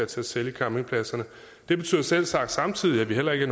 til at sælge campingpladserne det betyder selvsagt samtidig at vi heller ikke